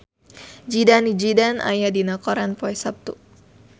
Zidane Zidane aya dina koran poe Saptu